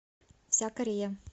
вся корея